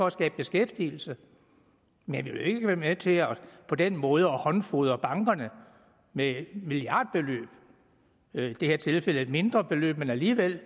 at skabe beskæftigelse men vi vil ikke være med til på den måde at håndfodre bankerne med milliardbeløb i det her tilfælde et mindre beløb men alligevel